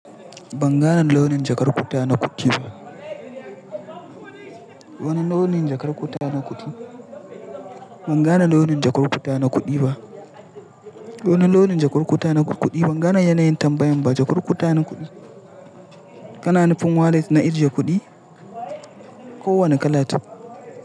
Ban gane launin jakar kutana kuɗi ba. Wani launin jakar kutana kuɗi? Ban gane launin jakar kutana kuɗi ba. Wane launin jakar kutana kuɗi? Ban gane yanayin tambayan ba. Jakar kutana kuɗi. Kana nufin wallet na ajiye kuɗi? Ko wani kala to.